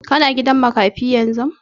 Ka na gidan makafi yanzu?